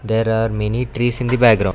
there are many trees in the background.